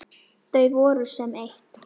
Þau voru sem eitt.